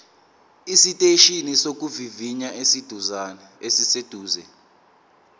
esiteshini sokuvivinya esiseduze